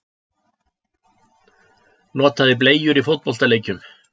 Notaði bleyjur í fótboltaleikjum